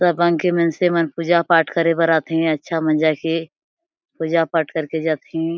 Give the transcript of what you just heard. सब मनसे मनसे मन पूजा-पाठ करे बर आथे अच्छा मजा के पूजा-पाठ करके जाथे।